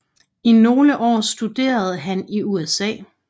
I nogle år studerede han i USA